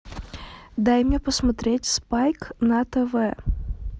дай мне посмотреть спайк на тв